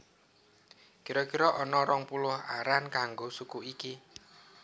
Kira kira ana rong puluh aran kanggo suku iki